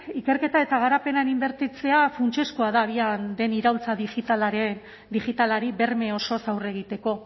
ikerketa eta garapenean inbertitzea funtsezkoa da abian den iraultza digitalari berme osoz aurre egiteko